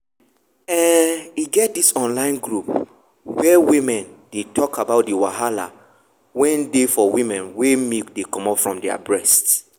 um e get this online group where woman dey talk about the wahala wen dey for women wen milk dey comot from their breast.